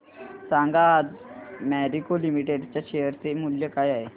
सांगा आज Marico limited च्या शेअर चे मूल्य काय आहे